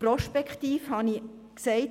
Prospektiv habe ich gesagt: